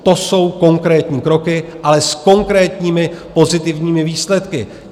To jsou konkrétní kroky, ale s konkrétními pozitivními výsledky.